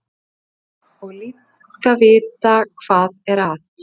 Og líka að vita hvað er að.